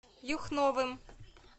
юхновым